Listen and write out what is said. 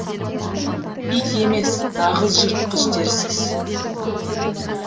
ит емес нағыз жыртқыш дерсіз